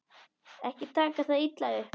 Ekki taka það illa upp.